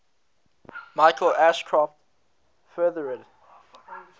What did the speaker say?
michael ashcroft furthered